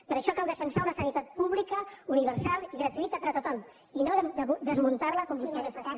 per això cal defensar una sanitat pública universal i gratuïta per a tothom i no desmuntar la com vostès estan fent